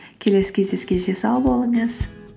келесі кездескенше сау болыңыз